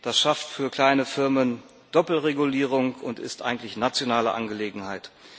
Das schafft für kleine Firmen Doppelregulierung und ist eigentlich nationale Angelegenheit.